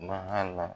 Bahala